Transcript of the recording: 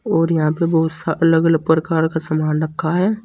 और यहां पे बहुत सा अलग अलग प्रकार का सामान रखा है।